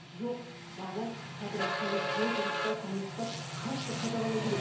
жоқ бала подростковой возрастта соны ұстап қатты қадағалау керек